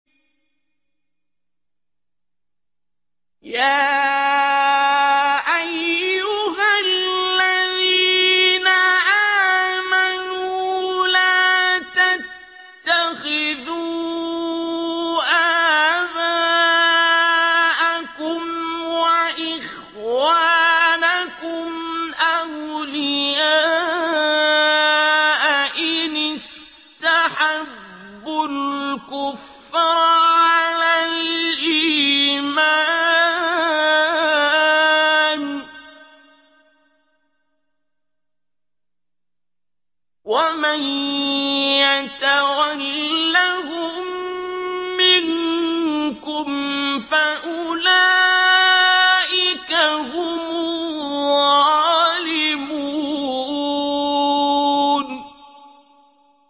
يَا أَيُّهَا الَّذِينَ آمَنُوا لَا تَتَّخِذُوا آبَاءَكُمْ وَإِخْوَانَكُمْ أَوْلِيَاءَ إِنِ اسْتَحَبُّوا الْكُفْرَ عَلَى الْإِيمَانِ ۚ وَمَن يَتَوَلَّهُم مِّنكُمْ فَأُولَٰئِكَ هُمُ الظَّالِمُونَ